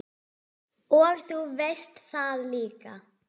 Og þú veist það líka.